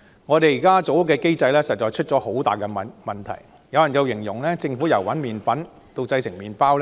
現時建屋的機制實在出現了很大問題，有人形容政府由找麵粉到製成麵包